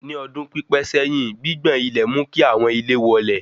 Ní ọdún pípé sẹ́yìn, gbigbọn ilẹ̀ mú kí àwọn ilé wọlẹ̀